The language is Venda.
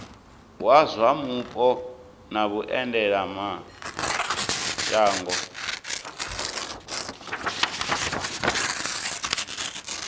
wa zwa mupo na vhuendelamshango